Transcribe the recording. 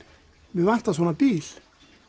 mig vantar svona bíl